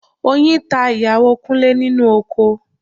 Oyin ta ìyàwó Kúnlé nínú oko